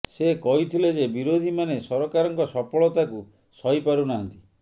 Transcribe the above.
ସେ କହିଥିଲେ ଯେ ବିରୋଧୀମାନେ ସରକାରଙ୍କ ସଫଳତାକୁ ସହି ପାରୁ ନାହାନ୍ତି